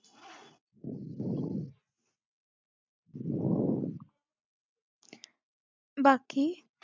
बाकी